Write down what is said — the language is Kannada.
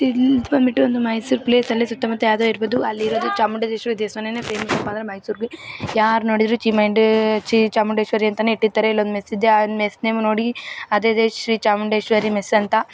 ಇಲ್ಲಿ ಇದು ಬಂದ್ಬಿಟ್ಟು ನಮ್ಮ ಮೈಸೂರ್ ಪ್ಲೇಸಲ್ಲಿ ಸುತ್ತಮುತ್ತ ಯಾದವ್ ಇರಬಹುದು ಅಲ್ಲಿರೋದು ಚಾಮುಂಡೇಶ್ವರಿ ದೇವಸ್ಥಾನನೇ ಫೇಮಸ್ ಅದು ಮೈಸೂರಿಗೆ ಯಾರ್ ನೋಡಿದರೂ ಚೀಮಂಡೆ ಚಾಮುಂಡೇಶ್ವರಿ ಅಂತನೇ ಇಟ್ಟಿರುತ್ತಾರೆ. ಅಲ್ಲೊಂದ್ ಮೆಸ್ಸಿದೆ ಆ ಮಿಸ್ ನೇಮು ನೋಡಿ ಅದೇ ಇದೆ ಶ್ರೀ ಚಾಮುಂಡೇಶ್ವರಿ ಮೆಸ್ ಅಂತ.